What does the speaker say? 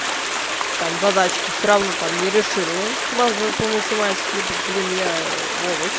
там задачки все равно там не решила базовые по математике блин я овощ